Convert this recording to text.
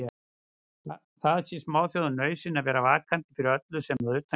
Það sé smáþjóðum nauðsyn að vera vakandi fyrir öllu sem að utan kemur.